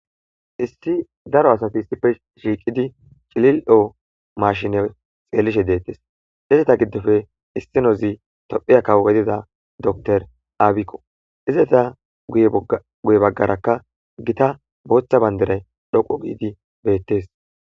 Issi daaro asati issippe shiqqidi cillilo mashshine xellishe dettes izetta giddoppe issinozi tophphiya kawo giddida dokkitere abbikko izzeta guye baggeraka giitta booththa bandiray dhoqqu giidi bettes.